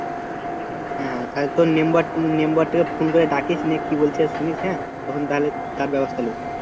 হ্যাঁ, তাহলে তোর membermember টাকে ফোন করে ডাকিস নিয়ে কি বলছে শুনিস হ্যাঁ তখন তাহলে তার ব্যবস্থা নিব